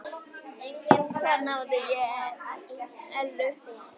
Þar náði ég Ellu.